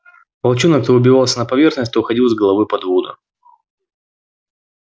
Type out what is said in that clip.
волчонок то выбивался на поверхность то уходил с головой под воду